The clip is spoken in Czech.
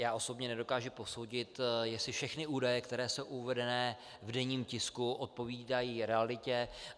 Já osobně nedokážu posoudit, jestli všechny údaje, které jsou uvedeny v denní tisku, odpovídají realitě.